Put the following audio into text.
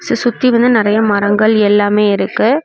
சசுத்தி வந்து நறைய மரங்கள் எல்லாமே இருக்கு.